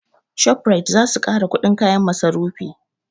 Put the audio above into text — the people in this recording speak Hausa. Shoprite zasu ƙara kuɗin kayan masarufi